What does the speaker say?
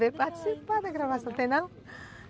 Veio participar da gravação, tem não?